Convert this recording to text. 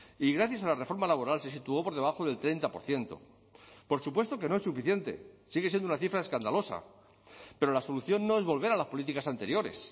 y gracias a la reforma laboral se situó por debajo del treinta por ciento por supuesto que no es suficiente sigue siendo una cifra escandalosa pero la solución no es volver a las políticas anteriores